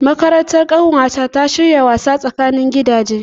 Makarantar ƙanwata ta shirya gasar tsakanin gidaje.